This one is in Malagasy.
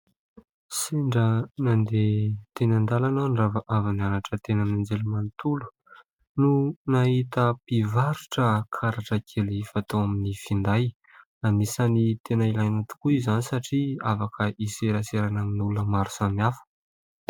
Sendra nandeha teny an-dalana aho ; nirava avy nianatra teny amin'ny anjerimanontolo ; no nahita mpivarotra karatra kely fatao amin'ny finday. Anisan'ny tena ilaina tokoa izany satria afaka hiseraserana amin'ny olona maro samihafa.